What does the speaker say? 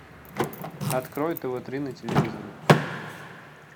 открой тв три на телевизоре